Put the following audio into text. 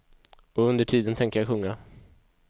Och under tiden tänker jag sjunga.